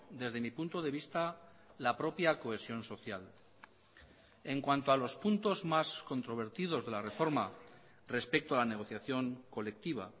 desde mi punto de vista la propia cohesión social en cuanto a los puntos más controvertidos de la reforma respecto a la negociación colectiva